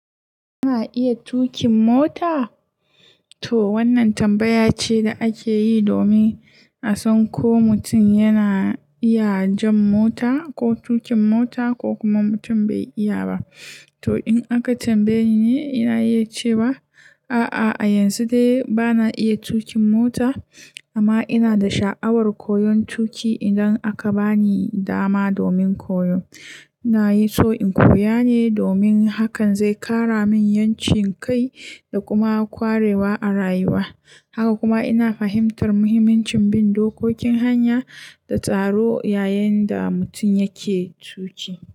Kina iya tuƙin mota? To wannan tambaya ce da ake yi domin a san ko mutum yana iya jan mota ko tuƙin mota ko kuma mutum bai iya ba. To in aka tambaye ni, ina iya cewa a'a, a yanzu dai bana iya tuƙin mota amma ina da sha'awar koyon tuƙi idan aka bani dama domin koyo. Ina so in koya ne domin hakan zai ƙara min 'yancin kai da kuma ƙwarewa a rayuwa. Haka kuma ina fahimtar muhimmancin bin dokokin hanya da tsaro yayin da mutum yake tuƙi.